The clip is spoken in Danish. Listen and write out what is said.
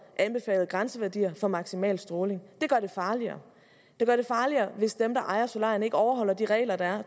anbefalede grænseværdier for maksimal stråling det gør det farligere det gør det farligere hvis dem der ejer solarierne ikke overholder de regler der er